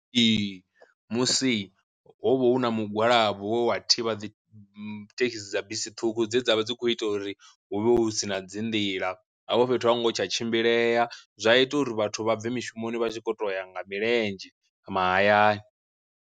Ee musi ho vha hu na mugwalabo we wa thivha dzi thekhisi dza bisi ṱhukhu dze dza vha dzi kho ita uri huvhe hu sina dzi nḓila, hafho fhethu a hu ngo tsha tshimbilea zwa ita uri vhathu vha bve mishumoni vha tshi kho to ya nga milenzhe mahayani.